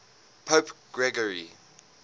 pope gregory